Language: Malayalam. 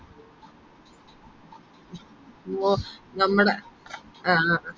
ഓ നമ്മടെ ആഹ് ആഹ്